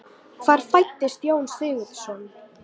Hvar fæddist Jón Sigurðsson?